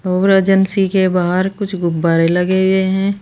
और एजेंसी के बाहर कुछ गुब्बारे लगे हुए हैं।